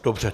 Dobře.